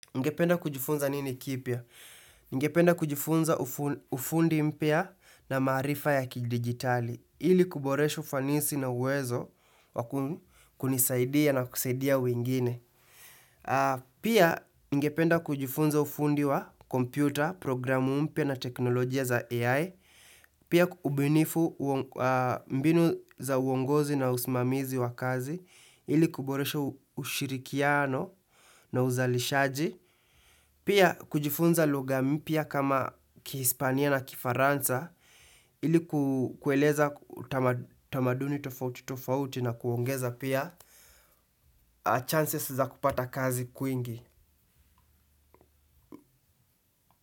Ungependa kujifunza nini kipya? Ningependa kujifunza ufundi mpya na maarifa ya kidigitali. Ili kuboresha ufanisi na uwezo wa kunisaidia na kusaidia wengine. Pia ningependa kujifunza ufundi wa kompyuta, programu mpya na teknolojia za AI. Pia mbinu za uongozi na usimamizi wa kazi. Ili kuboresha ushirikiano na uzalishaji. Pia kujifunza lugha mpya kama kihispania na kifaransa ili kueleza tamaduni tofauti tofauti na kuongeza pia chances za kupata kazi kwingi.